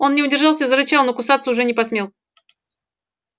он не удержался и зарычал но кусаться уже не посмел